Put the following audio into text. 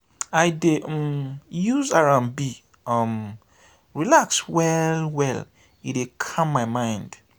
i dey um use r&b um relax well-well e dey calm my mind.